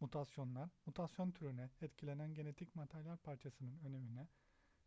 mutasyonlar mutasyon türüne etkilenen genetik materyal parçasının önemine